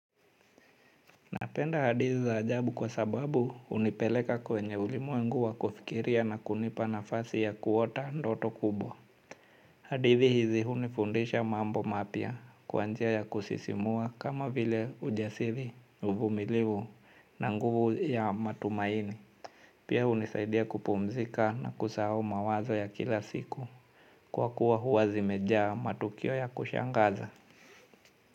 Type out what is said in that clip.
Napenda hadithi za ajabu kwa sababu hunipeleka kwenye ulimwengu wa kufikiria na kunipa nafasi ya kuota ndoto kubwa. Hadithi hizi hunifundisha mambo mapya kwa njia ya kusisimua kama vile ujasiri uvumiliwu na nguvu ya matumaini. Pia hunisaidia kupumzika na kusahau mawazo ya kila siku kuwa kuwa huwa zimejaa matukio ya kushangaza.